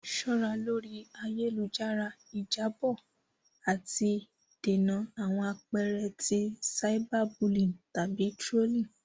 Ṣọra lori ayelujara; Ijabọ ati dènà awọn apẹẹrẹ ti cyberbullying tabi trolling.